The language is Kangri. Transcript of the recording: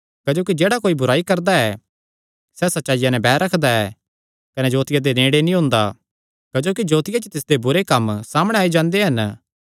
क्जोकि जेह्ड़ा कोई बुराई करदा ऐ सैह़ सच्चाईया नैं बैर रखदा ऐ कने जोतिया दे नेड़े नीं ओंदा क्जोकि जोतिया च तिसदे बुरे कम्म सामणै आई जांदे हन